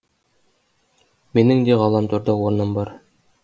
менің де ғаламторда орным бар